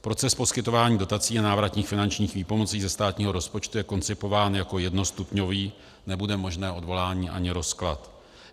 Proces poskytování dotací a návratných finančních výpomocí ze státního rozpočtu je koncipován jako jednostupňový, nebude možné odvolání ani rozklad.